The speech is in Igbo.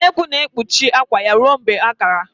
Nnekwu na-ekpuchi akwa ya ruo mgbe ha kara